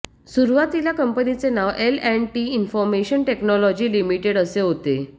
सुरुवातीला कंपनीचे नाव L and T information technology limited असे होते